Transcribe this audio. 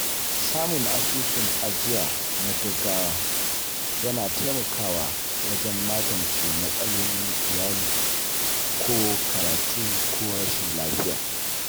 Samun asusun ajiya na gaugawa yana taimakawa wajen magance matsalolin iyali ko karatu ko rashin lafiya.